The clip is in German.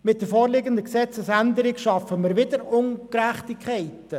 Mit der vorliegenden Gesetzesänderung schaffen wir wieder Ungleichheiten und Ungerechtigkeiten.